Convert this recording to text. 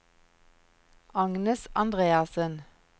Agnes Andreassen